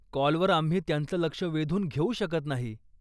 कॉलवर आम्ही त्यांचं लक्ष वेधून घेऊ शकत नाही.